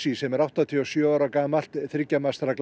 sem er áttatíu og sjö ára gamalt þriggja